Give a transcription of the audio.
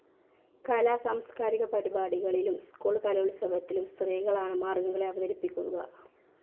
കലാസാംസ്കാരിക പരിപാടികളിലും സ്കൂൾ കലോത്സവത്തിനും സ്ത്രീകളാണ് മാർഗംകളി അവതരിപ്പിക്കുക.